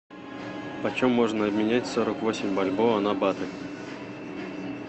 почем можно обменять сорок восемь бальбоа на баты